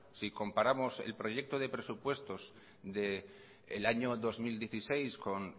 si comparamos el proyecto de presupuestos del año dos mil dieciséis con